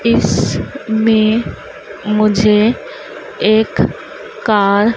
इसमें मुझे एक कार --